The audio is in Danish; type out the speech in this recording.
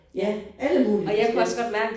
Ja alle mulige forskellige